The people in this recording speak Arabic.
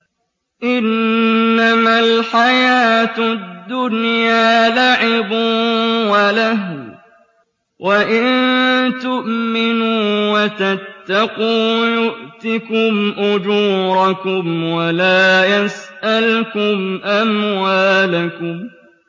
إِنَّمَا الْحَيَاةُ الدُّنْيَا لَعِبٌ وَلَهْوٌ ۚ وَإِن تُؤْمِنُوا وَتَتَّقُوا يُؤْتِكُمْ أُجُورَكُمْ وَلَا يَسْأَلْكُمْ أَمْوَالَكُمْ